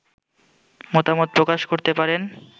মতামত প্রকাশ করতে পারেন